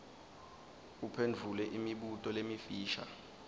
uphendvule imibuto lemifisha